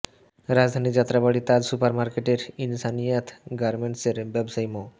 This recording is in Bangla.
রাজধানীর যাত্রাবাড়ী তাজ সুপার মার্কেটের ইনসানিয়াত গার্মেন্টসের ব্যবসায়ী মো